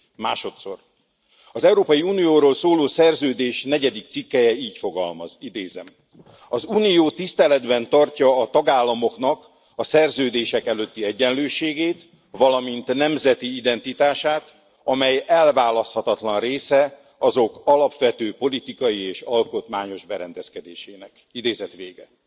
Másodszor, az Európai Unióról szóló szerződés negyedik cikkelye így fogalmaz, idézem az Unió tiszteletben tartja a tagállamoknak a szerződések előtti egyenlőségét, valamint nemzeti identitását, amely elválaszthatatlan része azok alapvető politikai és alkotmányos berendezkedésének idézet vége.